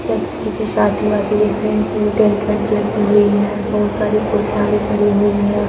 यहाँ किसी की शादी वादी जैसी टेंट वेंट लगी हुई है। बहुत सारी कुर्सियाँ भी पड़ी हुई हैं।